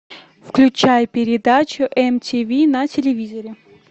включай передачу мтв на телевизоре